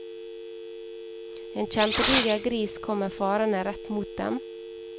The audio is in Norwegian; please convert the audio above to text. En kjempediger gris kommer farende rett mot dem.